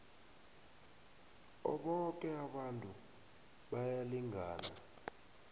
boke abantu bayalingana